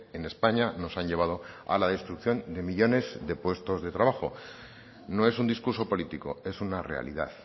en españa nos han llevado a la destrucción de millónes de puestos de trabajo no es un discurso político es una realidad